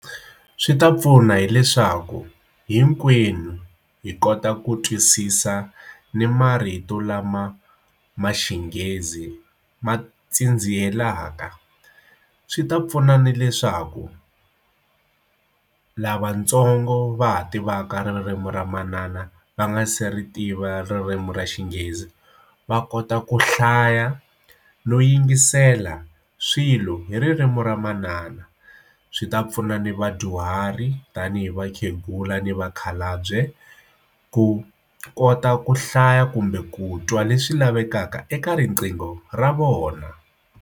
Swi ta pfuna hileswaku hinkwenu hi kota ku twisisa ni marito lama ma xinghezi ma tsindziherile mhaka swi ta pfuna na leswaku lavatsongo va ha tivaka ririmi ra manana va nga se ri tiva ririmi ra xinghezi va kota ku hlaya no yingisela swilo hi ririmi ra manana swi ta pfuna ni vadyuhari tanihi vakhegula ni vakhalabye ku kota ku hlaya kumbe ku twa leswi lavekaka eka riqingho ra vona.